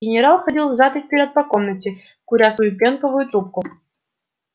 генерал ходил взад и вперёд по комнате куря свою пенковую трубку